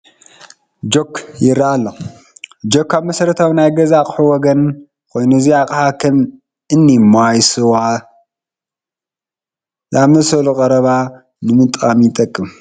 ጆክ ይርአይ ኣሎ፡፡ ጆክ ካብ መሰረታዊ ናይ ገዛ ኣቑሑት ወገን ኮይኑ እዚ ኣቕሓ ከም እኒ ማይ ስዋ ዝኣምሰሉ ቀረባት ንምቕማጥ ይጠቅም፡፡